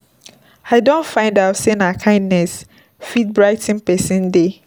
I don find out sey na kindness fit brigh ten pesin day.